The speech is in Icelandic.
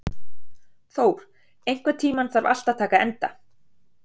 Thór, einhvern tímann þarf allt að taka enda.